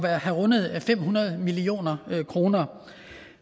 at have rundet fem hundrede million kroner